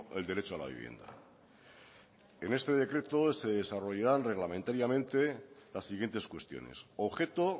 el derecho a la vivienda en este decreto se desarrollarán reglamentariamente las siguientes cuestiones objeto